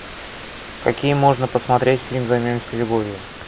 какие можно посмотреть фильмы займемся любовью